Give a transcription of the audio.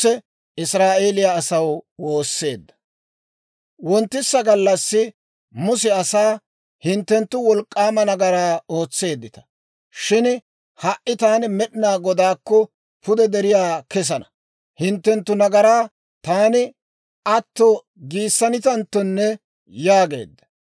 Wonttisa gallassi Muse asaa, «Hinttenttu wolk'k'aama nagaraa ootseeddita; shin ha"i taani Med'inaa Godaakko pude deriyaa kesana; hinttenttu nagaraa taani atto giissanitanttonne» yaageedda.